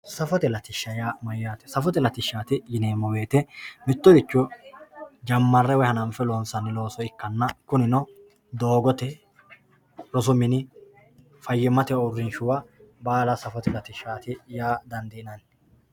safote latishsha yaa mayaate safote latishshaati yineemo woyeete mittoricho jammare woye hananfe loonsanni looso ikkanna kunino doogote rosu mini fayyimmate uurinshuwa baala safote latishshaati yaa dandiinanni.